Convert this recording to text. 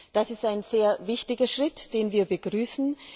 Das ist ein sehr wichtiger Schritt, den wir begrüßen.